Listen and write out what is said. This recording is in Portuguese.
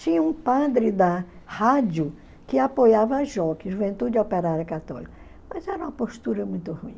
Tinha um padre da rádio que apoiava a Juventude Operária Católica, mas era uma postura muito ruim.